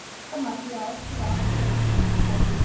Mér tókst þetta með því að aðskilja algerlega þessa tvo hluti.